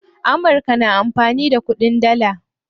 Amurka na amfani da kuɗin dalla.